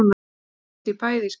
Hún brosti í bæði skiptin.